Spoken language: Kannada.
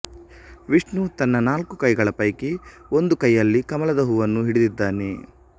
ವಿಷ್ಣು ತನ್ನ ನಾಲ್ಕು ಕೈಗಳ ಪೈಕಿ ಒಂದು ಕೈಯಲ್ಲಿ ಕಮಲದ ಹೂವನ್ನು ಹಿಡಿದಿದ್ದಾನೆ